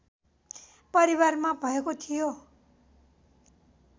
परिवारमा भएको थियो